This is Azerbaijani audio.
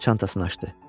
Çantasını açdı.